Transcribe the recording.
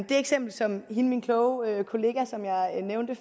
eksempel som min kloge kollega som jeg nævnte